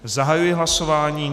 Zahajuji hlasování.